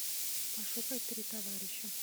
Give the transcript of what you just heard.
пошукай три товарища